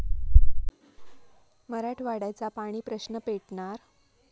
मराठवाड्याचा पाणी प्रश्न पेटणार?